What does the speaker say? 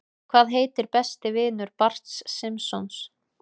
Hvað heitir besti vinur Barts Simpsons?